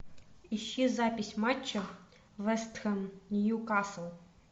ищи запись матча вест хэм ньюкасл